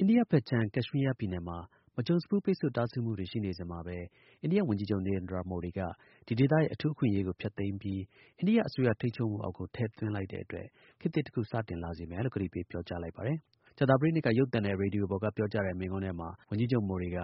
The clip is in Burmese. အိန္ဒိယဖက်ခြမ်း ကက်ရှ်မီးယားနယ်မှာ မကြုံစဖူး ပိတ်ဖို့တားဆီးမှုတွေ ရှိနေစဉ်မှာ အိန္ဒိယဝန်ကြီးချုပ် Narendra Modi က ဒီဒေသရဲ့ အထူးအခွင့်အရေးကို ဖျက်သိမ်းပြီး အိန္ဒိယအစိုးရ ထိန်းချုပ်မှုအောက်ကို ထည့်သွင်းလိုက်တဲ့အတွက် ခေတ်သစ်တခု စတင်လာစေမယ်လို့ ကတိပေးပြောကြား လိုက်ပါတယ်။ ကြာသပတေးနေ့တုန်းက ရုပ်သံနဲ့ ရေဒီယိုပေါ်က ပြောကြားတဲ့ မိန့်ခွန်းထဲမှာ ဝန်ကြီးချုပ်မိုဒီက